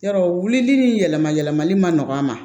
Yɔrɔ wulili yɛlɛma yɛlɛmali ma nɔgɔ a ma